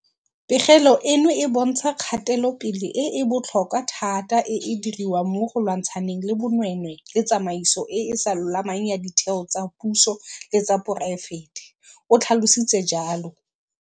Pegelo eno e bontsha kgatelopele e e botlhokwa thata e e diriwang mo go lwantshaneng le bonweenwee le tsamaiso e e sa lolamang ya ditheo tsa puso le tsa poraefete, o tlhalositse jalo.